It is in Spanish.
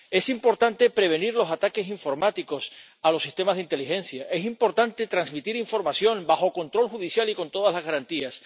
Es importante prevenir los ataques informáticos a los sistemas de inteligencia, es importante transmitir información bajo control judicial y con todas las garantías